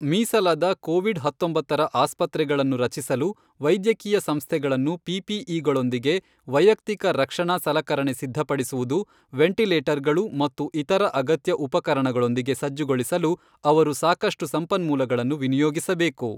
ಮೀಸಲಾದ ಕೋವಿಡ್ ಹತ್ತೊಂಬತ್ತರ ಆಸ್ಪತ್ರೆಗಳನ್ನು ರಚಿಸಲು, ವೈದ್ಯಕೀಯ ಸಂಸ್ಥೆಗಳನ್ನು ಪಿಪಿಇಗಳೊಂದಿಗೆ ವೈಯಕ್ತಿಕ ರಕ್ಷಣಾ ಸಲಕರಣೆ ಸಿದ್ಧಪಡಿಸುವುದು, ವೆಂಟಿಲೇಟರ್ಗಳು ಮತ್ತು ಇತರ ಅಗತ್ಯ ಉಪಕರಣಗಳೊಂದಿಗೆ ಸಜ್ಜುಗೊಳಿಸಲು ಅವರು ಸಾಕಷ್ಟು ಸಂಪನ್ಮೂಲಗಳನ್ನು ವಿನಿಯೋಗಿಸಬೇಕು.